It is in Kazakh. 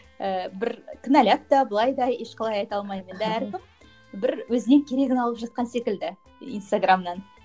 ііі бір кінәлап та былай да ешқалай айта алмаймын енді әркім бір өзіне керегін алып жатқан секілді инстаграмнан